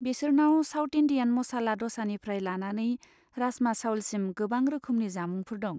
बेसोरनाव south Indian मसाला दसानिफ्राय लानानै राजमा चाउलसिम गोबां रोखोमनि जामुंफोर दं।